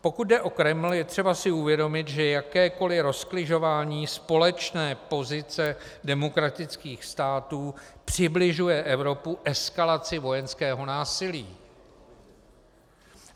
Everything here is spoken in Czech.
Pokud jde o Kreml, je třeba si uvědomit, že jakékoliv rozkližování společné pozice demokratických států přibližuje Evropu eskalaci vojenského násilí.